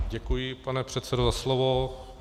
Děkuji, pane předsedo, za slovo.